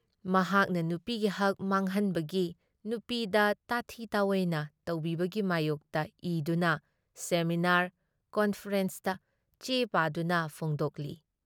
ꯃꯍꯥꯛꯅ ꯅꯨꯄꯤꯒꯤ ꯍꯛ ꯃꯥꯡꯍꯟꯕꯒꯤ ꯅꯨꯄꯤꯗ ꯇꯥꯊꯤ ꯇꯥꯑꯣꯏꯅ ꯇꯧꯕꯤꯕꯒꯤ ꯃꯥꯌꯣꯛꯇ ꯏꯗꯨꯅ, ꯁꯦꯃꯤꯅꯥꯔ ꯀꯟꯐꯔꯦꯟꯁꯇ ꯆꯦ ꯄꯥꯎꯗꯅ ꯐꯣꯡꯗꯣꯛꯂꯤ ꯫